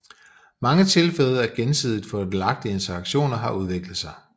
Mange tilfælde af gensidigt fordelagtige interaktioner har udviklet sig